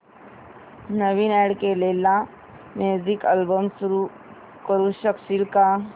नवीन add केलेला music album सुरू करू शकशील का